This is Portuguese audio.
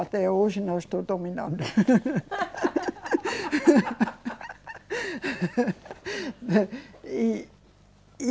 Até hoje não estou dominando.